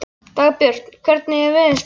Dagbjörg, hvernig er veðurspáin?